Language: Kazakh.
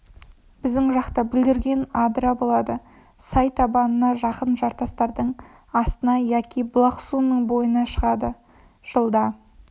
біздің жақта бүлдірген адырда болады сай табанына жақын жартастардың астына яки бұлақ суының бойына шығады жылда